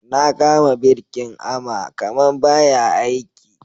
Na kama birkin ama kaman ba ya aiki.